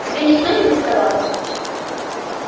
к тебе никто не приставал